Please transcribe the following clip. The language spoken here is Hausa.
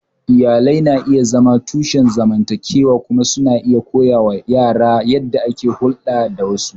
Iyalai na iya zama tushen zamantakewa kuma suna iya koya wa yara yadda ake hulɗa da wasu.